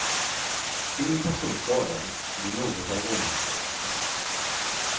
Ingen person skadades vid något av rånförsöken.